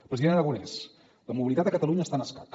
president aragonès la mobilitat a catalunya està en escac